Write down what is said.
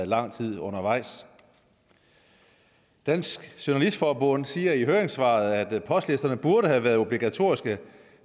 lang tid undervejs dansk journalist forbund siger i høringssvaret at postlister burde have været obligatoriske